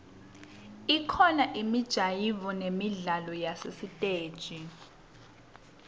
kubakhona imijayivo nemidlalo yasesitesi